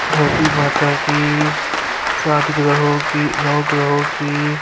دھرتی ماتا کی سات گرہو کی نو گرہو کی--